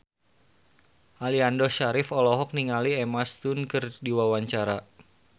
Aliando Syarif olohok ningali Emma Stone keur diwawancara